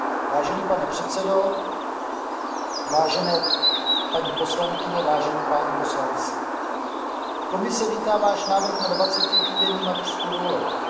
Vážený pane předsedo, vážené paní poslankyně, vážení páni poslanci, Komise vítá váš návrh na dvacetitýdenní mateřskou dovolenou.